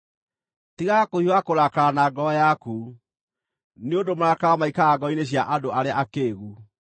Tigaga kũhiũha kũrakara na ngoro yaku, nĩ ũndũ marakara maikaraga ngoro-inĩ cia andũ arĩa akĩĩgu.